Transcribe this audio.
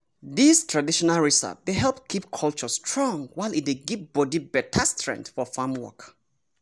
dis traditional recipe dey help keep culture strong while e dey give body beta strength for farm work.